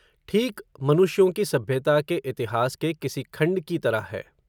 ठीक मनुष्यों की सभ्यता के इतिहास के किसी खण्ड की तरह है